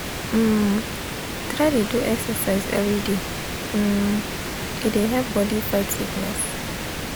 um try dey do exercise everyday um e dey help body fight sickness. um